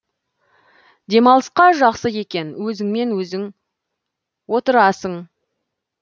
демалысқа жақсы екен өзіңмен өзің отырасың